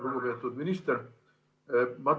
Lugupeetud minister!